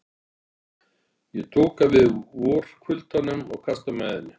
Ég doka við í vorkuldanum og kasta mæðinni.